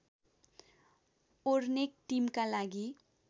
ओर्नेक टिमका लागि